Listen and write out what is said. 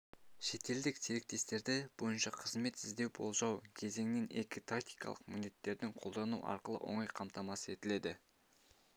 шетелдік серіктестерді бойынша қызметі іздеу-болжау кезеңінің екі тактикалық міндеттерін қолдану арқылы оңай қамтамасыз етіледі